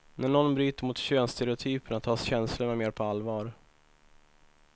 När någon bryter mot könsstereotyperna tas känslorna mer på allvar.